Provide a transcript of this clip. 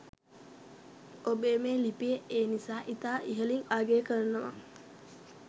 ඔබේ මේ ලිපිය ඒ නිසා ඉතා ඉහලින් අගය කරනවා